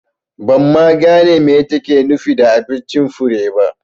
Ban ma gane me take nufi da abincin Fure ba